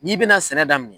N'i bɛna sɛnɛ daminɛ